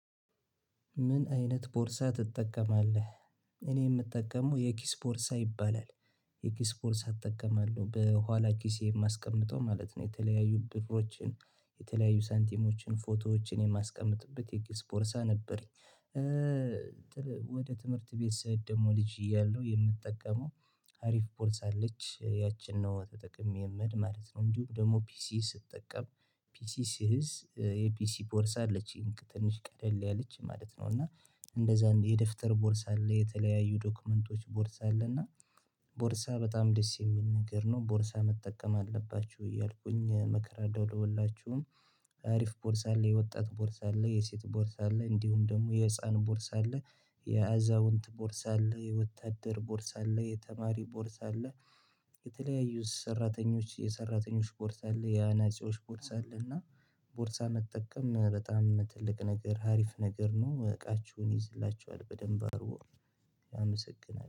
ምን አይነት ቦርሳ ትጠቀማለህ? እኔ የምጠቀመው የኪስ ቦርሳ ይባላል። የኪስ ቦርሳ እጠቀማለው በኋላ ኪስ የማስቀምጠው ማለት ነው የተለያዩ ብርሮችን የተለያዩ ሳንቲሞችን ፎቶዎችን የማስቀምጥበት የኪስ ቦርሳ ነበረኝ። ወደ ትምህርት ቤት ስሄድ ደግሞ ልጅ እያለሁ የምጠቀመው አሪፍ ቦርሳ አለች ያቺን ነው ተጠቅሜ ምሄድ ማለት ነው። እንዲሁ ደግሞ ፒሲ ስትጠቀም ፒሲ ስይዝ የፒሲ ቦርሳ አለች ትንሽ ቀለል ያለች ማለት ነው። እና እንደዛ የደብተር ቦርሳ አለ የተለያዩ ዶክመንቶች ቦርሳ አለ እና ቦርሳ በጣም ደስ የሚል ነገር ነው ቦርሳ መጠቀም አለባችሁ እያልኩኝ እመከራለሁኝ። አሪፍ ቦርሳ አለ የወጣት ቦርሳ አለ የሴት ቦርሳ አለ እንዲሁም ደግሞ የህፃን ቦርሳ አለ። የአዛውንት ቦርሳ አለ የወታደር ቦርሳ አለ የተማሪ ቦርሳ አለ። የተለያዩ ሰራተኞች የሰራተኞች ቦርሳ አለ የአናፂዎች ቦርሳ አለ እና ቦርሳ መጠቀም በጣም ትልቅ ነገር ሀሪፍ ነገር ነው። እቃችሁን ይዝላችኋል በደንብ አርጎ አመሰግናለሁ